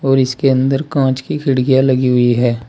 और इसके अंदर कांच की खिड़कियां लगी हुई है।